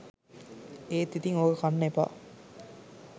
එත් ඉතින් ඕක කන්න එපා